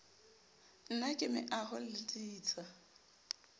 na ke meaoho le ditsha